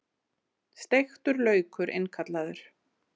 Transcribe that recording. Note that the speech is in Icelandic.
Steiktur laukur innkallaður